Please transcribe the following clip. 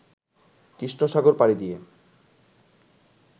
কৃষ্ণসাগর পাড়ি দিয়ে